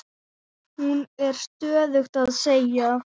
Hún er stöðugt að segja